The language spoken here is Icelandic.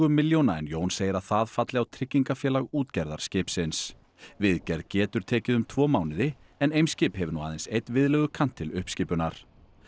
milljóna en Jón segir að það falli á tryggingafélag útgerðar skipsins viðgerð getur tekið um tvo mánuði en Eimskip hefur nú aðeins einn viðlegukant til uppskipunar